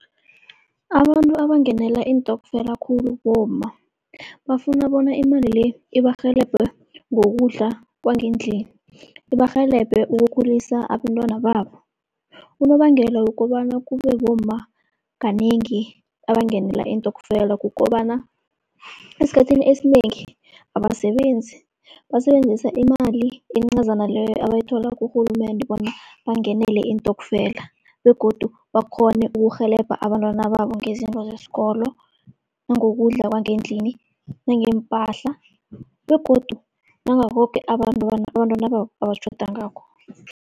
Abantu abangenela iintokfela khulu bomma, bafuna bona imali le ibarhelebhe ngokudla kwangendlini, ibarhelebhe ukukhulisa abentwana babo. Unobangela wokobana kube bomma kanengi abangenela iintokfela, kukobana esikhathini esinengi abasebenzi, basebenzisa imali encazana leyo abayithola kurhulumende bona bangenele iintokfela. Begodu bakghone ukurhelebha abantwana babo ngezinto zesikolo, nangokudla kwangendlini nangeempahla begodu nangakho koke abantwana babo abatjhoda ngakho.